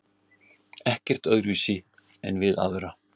Ekkert öðruvísi en við aðra.